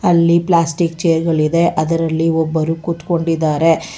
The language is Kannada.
ಅಲ್ಲಿ ಪ್ಲಾಸ್ಟಿಕ್ ಚೇರ್ ಗಳಿದೆ ಅದರಲ್ಲಿ ಒಬ್ಬರು ಕೂತ್ಕೊಂಡಿದಾರೆ.